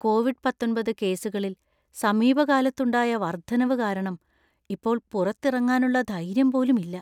Covid പത്തൊൻപത് കേസുകളിൽ സമീപകാലത്തുണ്ടായ വർദ്ധനവ് കാരണം ഇപ്പോൾ പുറത്തിറങ്ങാനുള്ള ധൈര്യം പോലും ഇല്ല.